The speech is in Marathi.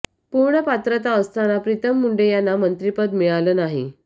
पूर्ण पात्रता असताना प्रीतम मुंडे यांना मंत्रिपद मिळालं नाही